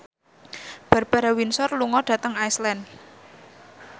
Barbara Windsor lunga dhateng Iceland